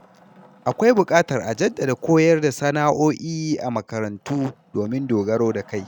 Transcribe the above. Akwai buƙatar a jaddada koyar da sana’o’i a makarantu domin dogaro da kai.